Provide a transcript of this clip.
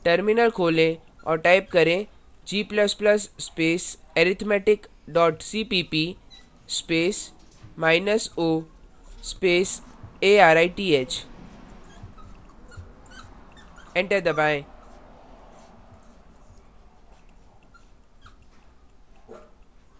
terminal खोलें और type करें g ++ space arithmetic dot cpp space minus o arith enter दबाएँ